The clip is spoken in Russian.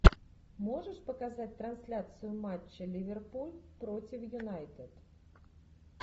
можешь показать трансляцию матча ливерпуль против юнайтед